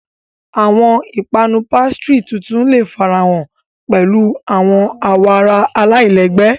Awọn ipanu pastry tuntun le farahan pẹlu awọn awoara alailẹgbẹ.